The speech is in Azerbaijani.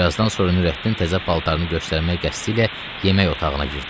Birazdan sonra Nurəddin təzə paltarını göstərmək qəsdi ilə yemək otağına girdi.